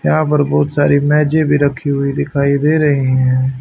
यहां पर बहोत सारी मेजे भी रखी हुई दिखाई दे रहे हैं।